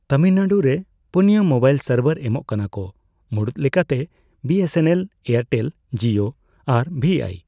ᱛᱟᱢᱤᱞᱱᱟᱹᱲᱩᱨᱮ ᱯᱚᱱᱭᱟ ᱢᱚᱵᱟᱭᱤᱞ ᱥᱟᱨᱵᱷᱟᱨ ᱮᱢᱚᱜ ᱠᱟᱱᱟ ᱠᱚ, ᱢᱩᱲᱩᱛ ᱞᱮᱠᱟᱛᱮ ᱵᱤᱹᱮᱥᱹᱮᱱᱹᱮᱞ, ᱮᱭᱟᱨᱴᱮᱞ, ᱡᱤᱭᱳ ᱟᱨ ᱵᱷᱤᱟᱭ ᱾